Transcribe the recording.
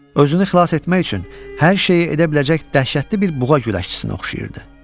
Özünü xilas etmək üçün hər şeyi edə biləcək dəhşətli bir buğa güləşçisinə oxşayırdı.